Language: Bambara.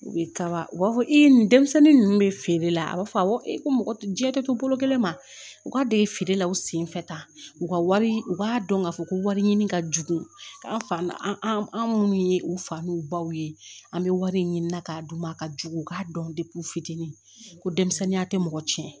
U bɛ kaba u b'a fɔ e nin denmisɛnnin ninnu bɛ feere la a b'a fɔ awɔ ko mɔgɔ jɛ de don bolo kelen ma u ka don ye feere la u sen fɛ tan u ka wari u b'a dɔn k'a fɔ ko wari ɲini ka jugu ka an minnu ye u fa n'u baw ye an bɛ wari ɲini na k'a d'u ma a ka jugu u k'a dɔn u fitinin ko denmisɛnninya tɛ mɔgɔ tiɲɛ